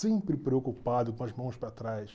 Sempre preocupado com as mãos para trás.